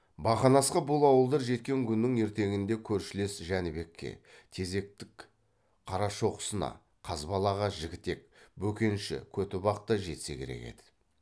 бақанасқа бұл ауылдар жеткен күннің ертеңінде көршілес жәнібекке тезектік қарашоқысына қазбалаға жігітек бөкенші көтібақ та жетсе керек еді